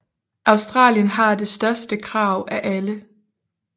Australien har det største krav af alle